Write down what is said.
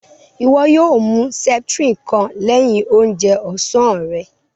Iwọ yóò mú septrin kàn lẹ̀hin òunjè ọ̀sán rè